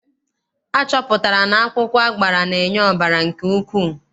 Achọpụtara na akwụkwọ agbara na-enye ọbara nke ukwuu.